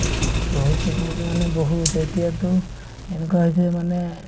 বহুত treatment মানে বহুত এতিয়াতো এনেকুৱা হৈছে মানে